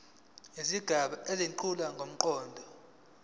izigaba ezethula ngomqondo